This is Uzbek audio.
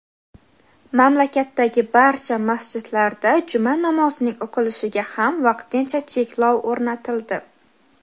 mamlakatdagi barcha masjidlarda juma namozining o‘qilishiga ham vaqtincha cheklov o‘rnatildi.